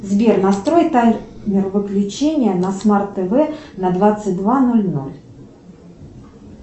сбер настрой таймер выключения на смарт тв на двадцать два ноль ноль